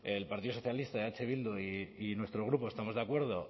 el partido socialista eh bildu y nuestro grupo estamos de acuerdo